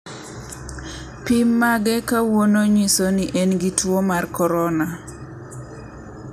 pim mage kawuono ng'iso ni en gi tuwo mar korona 19.